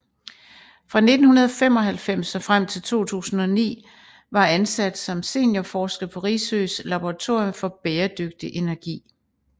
Fra 1995 og frem til 2009 var ansat som seniorforsker på Risøs laboratorium for bæredygtig energi